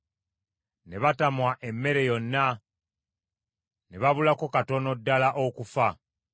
Ne batamwa emmere yonna, ne babulako katono ddala okufa.